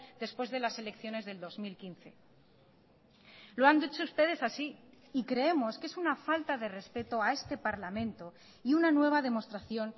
después de las selecciones del dos mil quince lo han dicho ustedes así y creemos que es una falta de respeto a este parlamento y una nueva demostración